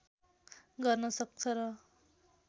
गर्न सक्छ र